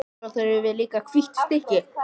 Svo þurfum við líka hvítt stykki.